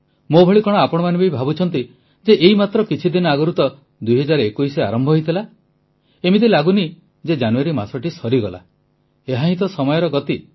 ମୋ ଭଳି କଣ ଆପଣମାନେ ବି ଭାବୁଛନ୍ତି ଯେ ଏଇ ମାତ୍ର କିଛିଦିନ ଆଗରୁ ତ 2021 ଆରମ୍ଭ ହୋଇଥିଲା ଏମିତି ଲାଗୁନି ଯେ ଜାନୁଆରୀ ମାସଟି ସରିଗଲା ଏହା ହିଁ ତ ସମୟର ଗତି